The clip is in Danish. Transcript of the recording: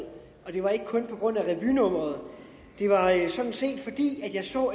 det var ikke kun på grund af revynummeret det var sådan set fordi jeg så